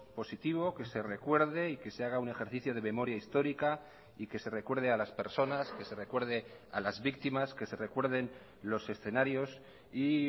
positivo que se recuerde y que se haga un ejercicio de memoria histórica y que se recuerde a las personas que se recuerde a las víctimas que se recuerden los escenarios y